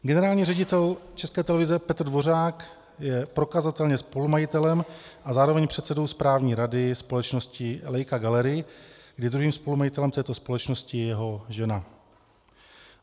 Generální ředitel České televize Petr Dvořák je prokazatelně spolumajitelem a zároveň předsedou správní rady společnosti Leica Gallery, kde druhým spolumajitelem této společnosti je jeho žena.